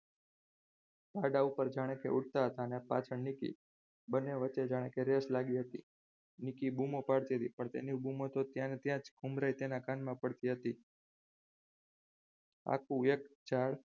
ગાડા ઉપર જાણે કે ઉડતા હતા અને પાછળની કી બંને વચ્ચે કે જાણે રેસ લાગી હતી નિકી બૂમો પાડતી હતી પણ તેની બૂમો તો ત્યાં ને ત્યાં જ ઉંમરે તેના કાનમાં પડતી હતી. આખું એક ઝાડ